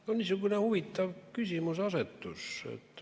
No niisugune huvitav küsimuseasetus.